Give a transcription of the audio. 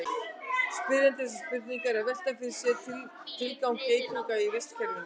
spyrjandi þessarar spurningar er að velta fyrir sér tilgangi geitunga í vistkerfinu